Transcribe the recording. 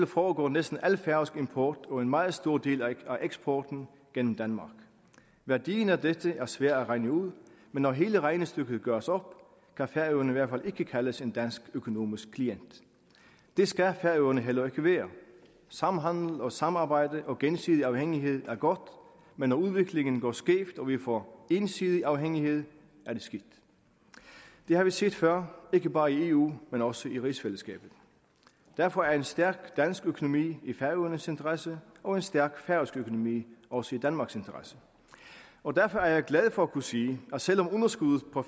foregår næsten al færøsk import og en meget stor del af eksporten gennem danmark værdien af dette er svær at regne ud men når hele regnestykket gøres op kan færøerne i hvert fald ikke kaldes en dansk økonomisk klient det skal færøerne heller ikke være samhandel og samarbejde og gensidig afhængighed er godt men når udviklingen går skævt og vi får ensidig afhængighed er det skidt det har vi set før ikke bare i eu men også i rigsfællesskabet derfor er en stærk dansk økonomi i færøernes interesse og en stærk færøsk økonomi også i danmarks interesse og derfor er jeg glad for at kunne sige at selv om underskuddet på